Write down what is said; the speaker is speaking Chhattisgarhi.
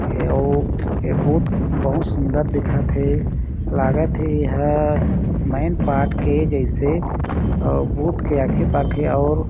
अउ ए बहुत बहुत सुन्दर दिखत हे लागत हे एहा मैनपाट के जईसे अ बूथ के आगे पाखे अउ--